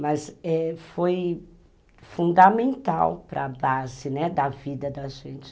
Mas, eh, foi fundamental para a base, né, da vida da gente.